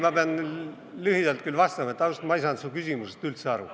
Ma pean küll lühidalt vastama, et ausalt, ma ei saanud su küsimusest üldse aru.